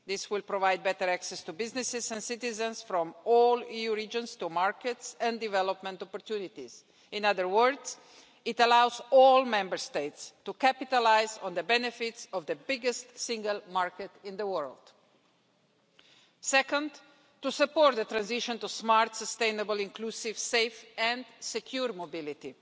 This will provide better access to businesses and citizens from all EU regions to markets and development opportunities. In other words, it allows all Member States to capitalise on the benefits of the biggest single market in the world. Second, to support the transition to smart, sustainable, inclusive, safe and secure mobility.